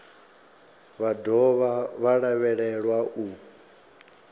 vha dovha vha lavhelelwa u